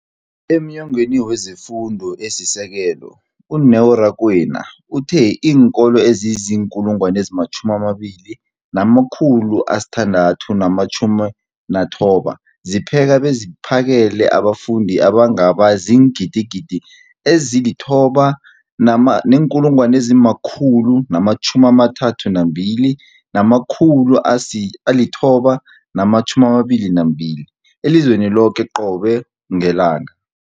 EmNyangweni wezeFundo esiSekelo, u-Neo Rakwena, uthe iinkolo ezizi-20 619 zipheka beziphakele abafundi abangaba ziingidi ezili-9 032 622 elizweni loke qobe ngelanga.